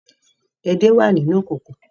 Ede wà nínú ìkòkò